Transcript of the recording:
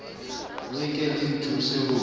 le ke le nthuse ho